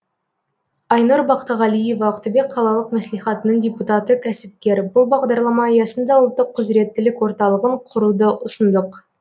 айнұр бақтығалиева ақтөбе қалалық мәслихатының депутаты кәсіпкер бұл бағдарлама аясында ұлттық құзыреттілік орталығын құруды ұсындық